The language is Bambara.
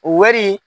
O wari